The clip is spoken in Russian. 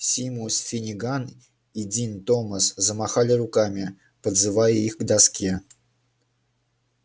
симус финниган и дин томас замахали руками подзывая их к доске